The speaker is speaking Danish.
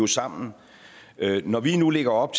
sammen når vi nu lægger op